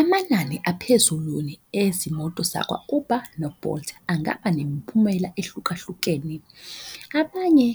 Amanani ezimoto zakwa-Uber no-Bolt angaba nemiphumela ehlukahlukene. Abanye